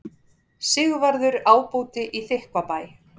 Sigvarður ábóti í Þykkvabæ.